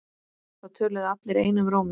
Það töluðu allir einum rómi.